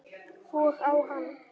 Og á hann.